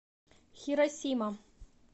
хиросима